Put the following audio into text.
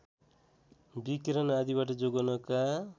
विकिरण आदिबाट जोगाउनका